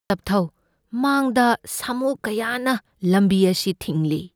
ꯇꯞꯊꯧ꯫ ꯃꯥꯡꯗ ꯁꯥꯃꯨ ꯀꯌꯥꯅ ꯂꯝꯕꯤ ꯑꯁꯤ ꯊꯤꯡꯂꯤ꯫